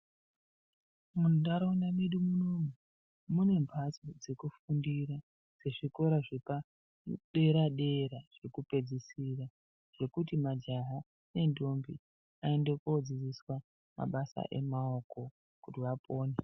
Muntharaunda medu munomu mune mhatso dzekufundira zvikora zvepadera-dera zvekupedzisira, zvekuti majaha nendombi vaende kodzidziswa mabasa emaoko kuti vapone.